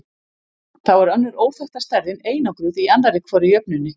Þá er önnur óþekkta stærðin einangruð í annarri hvorri jöfnunni.